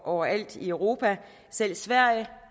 overalt i europa selv sverige